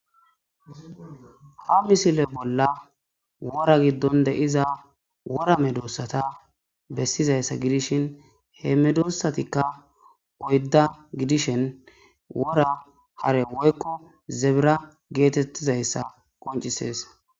Ha misile bolla wora giddon deiza wora medossata bessizayssa gidishin he medossatikka poydda gidishen wora hare woykko zebira geetettizayssa qoncises.